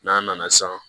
N'an nana san